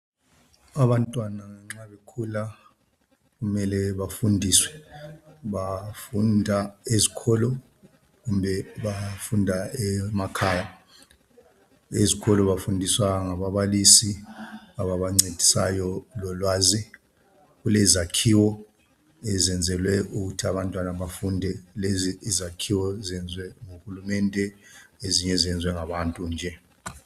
Abantwana nxa bekhula mele bafundiswe. Bafunda ezikolo kumbe bafunda emakhaya. Ezikolo bafundiswa ngababalisi ababa ncedisayo lo lwazi. Kulezakhiwo ezenzelwe ukuthi abantwana befunde. Lezi izakhiwo zenziwe nguhulumende, ezinye zenziwe ngabantu nje.